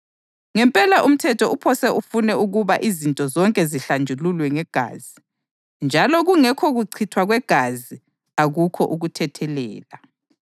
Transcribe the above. Ngempela umthetho uphose ufune ukuba izinto zonke zihlanjululwe ngegazi, njalo kungekho kuchithwa kwegazi akukho ukuthethelela.